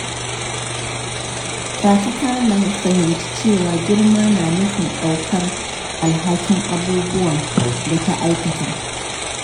Fati ta fahimci cewa girma na nufin ɗaukar alhakin abubuwan da ta aikata.